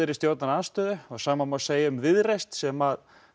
í stjórnarandstöðu sama má segja um Viðreisn sem